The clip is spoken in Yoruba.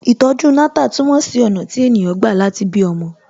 Ìtọ̀ju Natal túmọ̀ sí ọ̀nà tí ènìyàn gbà láti bí ọmọ